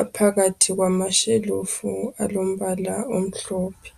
aphakathi kwamashelufu alombala omhlophe.